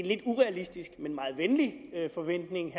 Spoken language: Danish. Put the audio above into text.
lidt urealistisk men en meget venlig forventning